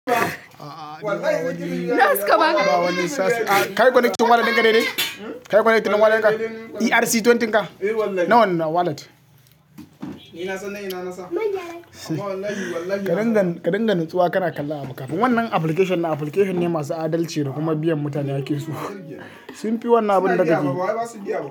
Taya suka baka? Kayi conneting wallet dika nene kai gwaneƙin walalin ka? ERC twenty ka? Na wannewallet? Ka dinga, ka dinga nutsuwa ka na kalla abu kafin wannan application din application ne masu adalci da kuma biyan mutane haƙƙin su sun fi wannan abin da kake yi.